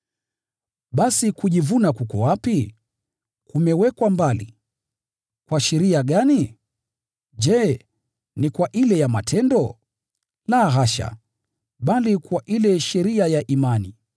Basi, kujivuna kuko wapi? Kumewekwa mbali. Kwa sheria gani? Je, ni kwa ile ya matendo? La hasha, bali kwa ile sheria ya imani.